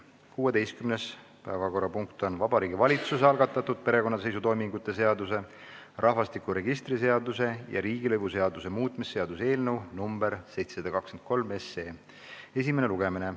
16. päevakorrapunkt on Vabariigi Valitsuse algatatud perekonnaseisutoimingute seaduse, rahvastikuregistri seaduse ja riigilõivuseaduse muutmise seaduse eelnõu 723 esimene lugemine.